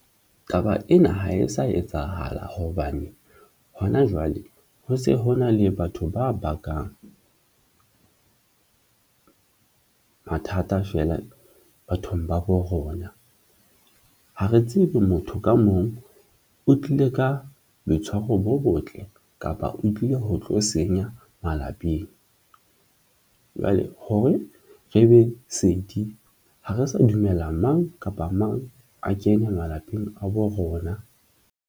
Taba ena ha e sa etsahala hobane hona jwale ho se hona le batho ba bakang mathata feela bathong ba bo rona. Ha re tsebe, motho ka mong o tlile ka boitshwaro bo botle kapa o tlile ho tlo senya malapeng jwale hore re be ha re sa dumella mang kapa mang a kene malapeng a bo rona.